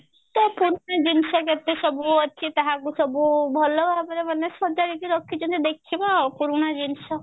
ତ ପୁରୁଣା ଜିନିଷ କେତେସବୁ ଅଛି ତାହାକୁ ସବୁ ଭଲ ଭାବରେ ମାନେ ସଜାଡିକି ରଖିଛନ୍ତି ଦେଖିବା ଆଉ ପୁରୁଣା ଜିନିଷ